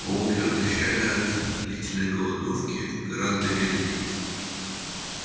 волки отощали от длительной голодовки гораздо медленнее